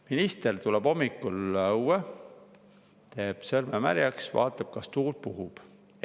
Minister tuleb hommikul õue, teeb sõrme märjaks, vaatab, kas tuul puhub.